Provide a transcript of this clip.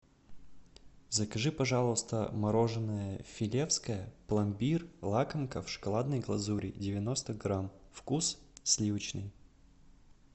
закажи пожалуйста мороженое филевское пломбир лакомка в шоколадной глазури девяносто грамм вкус сливочный